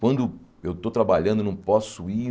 Quando eu estou trabalhando, não posso ir.